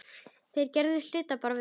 Þeir gerðu hlutina bara vel.